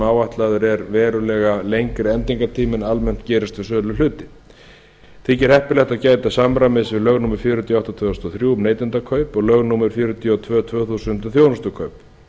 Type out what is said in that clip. áætlaður er verulega lengri endingartími en almennt gerist um söluhluti þykir heppilegt að gæta samræmis við lög númer fjörutíu og átta tvö þúsund og þrjú um neytendakaup og lög númer fjörutíu og tvö tvö þúsund um þjónustukaup